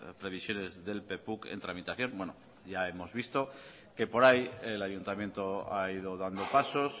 previsiones del en tramitación bueno ya hemos visto que por ahí el ayuntamiento ha ido dando pasos